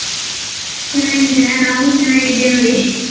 ಚೆನ್ನಾಗ್ ಇದ್ದೀರಾ ನಾವು ಚೆನ್ನಾಗ್ ಇದ್ದೇವ್ ನೋಡಿ.